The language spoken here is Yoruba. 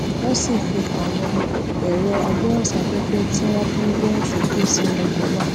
wón sì fi àwọn èrọ agbóhùnsáféfé tí wón fi ń gbóhùn sókè sínú ọkò náà